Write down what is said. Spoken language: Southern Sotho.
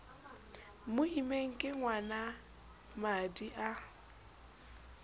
mo immeng ke ngwanamadi a